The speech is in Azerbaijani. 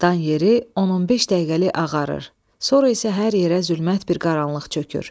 Dan yeri 15 dəqiqəlik ağarır, sonra isə hər yerə zülmət bir qaranlıq çökür.